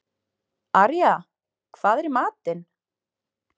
Arja, hvað er í matinn?